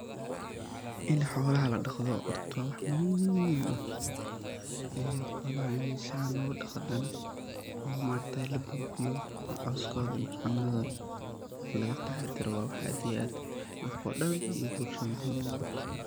In xolaha ladhaqdo horta wa wax muhiim ah, xolaha in san lodhaqdana oo maaragtaye labufiyo oo coskoda iyo cunadoda lagataxadaro wa wax aad iyo aad dadko dhaan iyo bulshada muhiim uah.